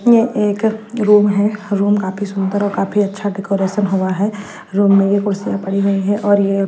ये एक अ रूम है रूम काफी सुंदर और काफी अच्छा डेकोरेशन हुआ है रूम में ये कुर्सियां पड़ी हुई है और ये--